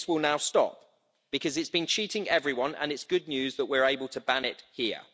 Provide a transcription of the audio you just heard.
And this will now stop, because it's been cheating everyone and it's good news that we are able to ban it here.